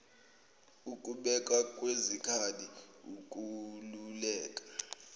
ukubekwa kwezikhali ukwaluleka